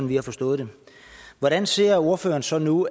vi har forstået det hvordan ser ordføreren så nu